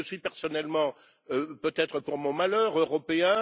Je suis personnellement, peut être pour mon malheur, européen.